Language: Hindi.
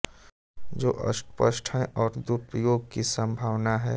जो अस्पष्ट है और दुरुपयोग की संभावना है